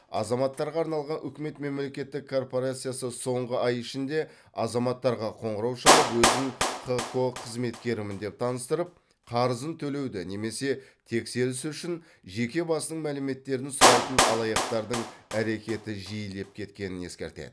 азаматтарға арналған үкімет мемлекеттік корпорациясы соңғы ай ішінде азаматтарға қоңырау шалып өзін хқо қызметкерімін деп таныстырып қарызын төлеуді немесе тексеріс үшін жеке басының мәліметтерін сұрайтын алаяқтардың әрекеті жиілеп кеткенін ескертеді